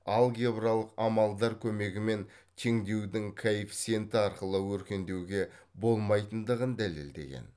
алгебралық амалдар көмегімен теңдеудің коэффиценті арқылы өркендеуге болмайтындығын дәлелдеген